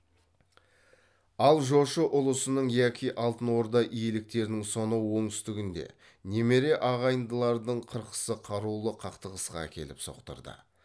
ал жошы ұлысының яки алтын орда иеліктерінің сонау оңтүстігінде немере ағайындылардың қырқысы қарулы қақтығысқа әкеліп соқтырды